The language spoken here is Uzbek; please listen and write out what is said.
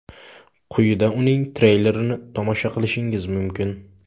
Quyida uning treylerini tomosha qilishingiz mumkin.